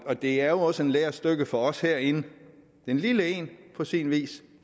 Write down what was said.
det er jo også et lærestykke for os herinde et lille et på sin vis